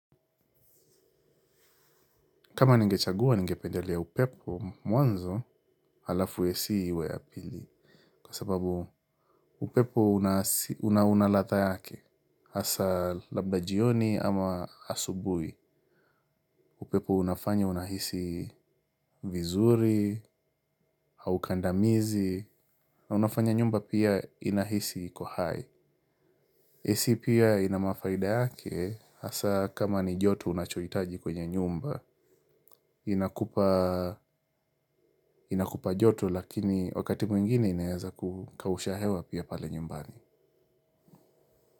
Kama nigechagua ningependelea upepo. Mwanzo alafu AC iwe ya pili. Kwa sababu upepo unaladhaa yake hasa labda jioni ama asubuhi. Upepo unafanya unahisi vizuri au kandamizi. Na unafanya nyumba pia inahisi iko hai AC pia ina mafaida yake hasa kama ni joto unachohitaji kwenye nyumba. Inakupa joto lakini wakati mwingine inaweza kukausha hewa pia pale nyumbani.